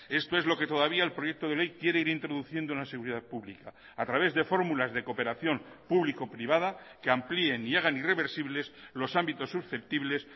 esto es lo que todavía el proyecto de ley quiere ir introduciendo en la seguridad pública a través de formulas de cooperación público privada que amplíen y hagan irreversibles los ámbitos susceptibles